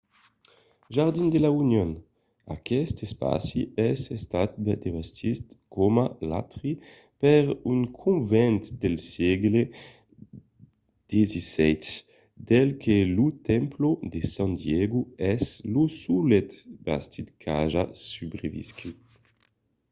jardín de la unión. aqueste espaci es estat bastit coma l'atri per un convent del sègle xvii del que lo templo de san diego es lo solet bastiment qu'aja subreviscut